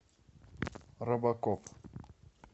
робокоп